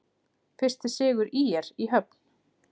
Fyrsti sigur ÍR í höfn